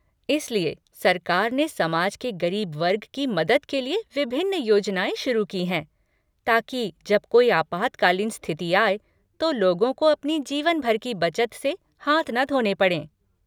इसलिए सरकार ने समाज के गरीब वर्ग की मदद के लिए विभिन्न योजनाएँ शुरू की हैं, ताकि जब कोई आपातकालीन स्थिति आए तो लोगों को अपनी जीवनभर की बचत से हाथ ना धोने पड़ें।